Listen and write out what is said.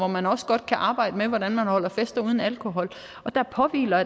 man også godt kan arbejde med hvordan man holder fester uden alkohol der påhviler